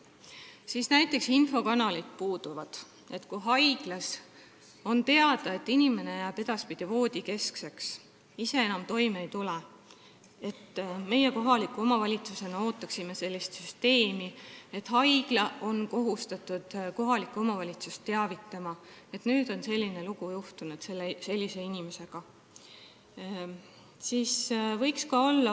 Meie kohalikus omavalitsuses ootaksime sellist süsteemi, et kui haiglas on teada, et inimene jääb edaspidi voodisse ja ise enam toime ei tule, siis haigla oleks kohustatud kohalikku omavalitsust teavitama, et nüüd on selline lugu selle inimesega juhtunud.